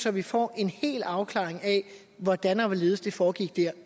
at vi får en afklaring af hvordan og hvorledes det foregik dér